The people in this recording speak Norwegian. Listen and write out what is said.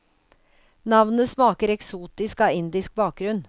Navnet smaker eksotisk av indisk bakgrunn.